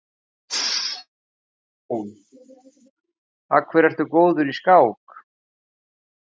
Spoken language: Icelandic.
Jón: Af hverju ertu góður í skák?